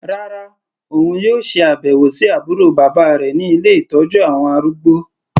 Rárá, òun yóò ṣe àbẹ̀wò sí àbúrò bàbá rẹ̀ ní ilé ìtọ́jú àwọn arúgbó.